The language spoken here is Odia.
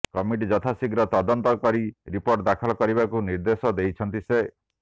କମିଟି ଯଥାଶୀଘ୍ର ତଦନ୍ତ କରି ରିପୋର୍ଟ ଦାଖଲ କରିବାକୁ ନିର୍ଦ୍ଦେଶ ଦେଇଛନ୍ତି ସେ